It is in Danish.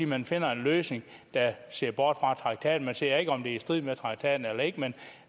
man finder en løsning der ser bort fra traktaten man ser ikke om det er i strid med traktaten eller ikke men